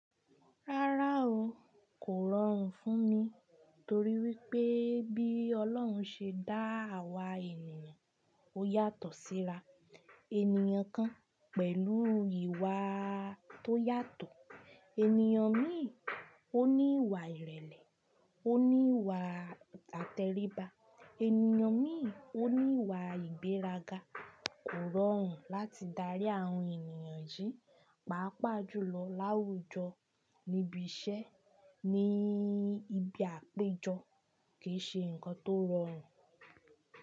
Rárá o, kò rọrùn fún mi torí wípé bí Ọlọ́run ṣe dá àwa ènìyàn, ó yàtọ̀ síra. Ènìyàn kan pẹ̀lú ìwà tó yàtọ̀, ènìyàn míì ó ní ìwà ìrẹ̀lẹ̀, ó ní ìwà àtẹríba, ènìyàn míì ó ní ìwà ìgbéraga. Kò rọrùn láti darí àwọn ènìyàn yìí, pàápàá jùlọ láwùjọ níbi iṣẹ́ ní ibi àpéjọ kì í ṣe nǹkan tó rọrùn.